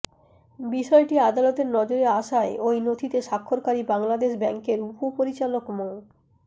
বিষয়টি আদালতের নজরে আসায় ওই নথিতে স্বাক্ষরকারী বাংলাদেশ ব্যাংকের উপপরিচালক মো